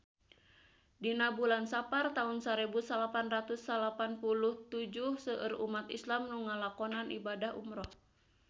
Dina bulan Sapar taun sarebu salapan ratus salapan puluh tujuh seueur umat islam nu ngalakonan ibadah umrah